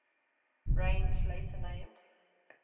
range later named